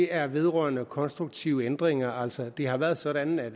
er vedrørende konstruktive ændringer altså det har været sådan at